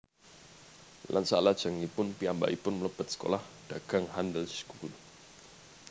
Lan salajengipun piyambakipun mlebet sekolah dagang Handelsschool